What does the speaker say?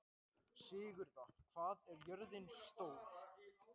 Sigurða, hvað er jörðin stór?